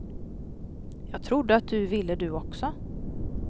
Jag trodde att du ville du också.